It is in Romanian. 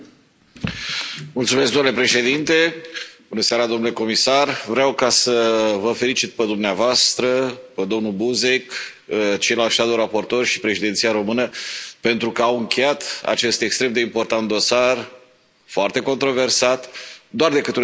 Domnule președinte, domnule comisar, vreau să vă felicit pe dumneavoastră, pe domnul Buzek, pe ceilalți și Președinția română pentru că au încheiat acest extrem de important dosar, foarte controversat, doar pentru o singură țară, e drept,